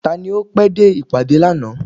Tani o pé dé ìpàdé lànà?